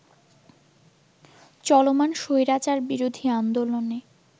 চলমান স্বৈরাচারবিরোধী আন্দোলনে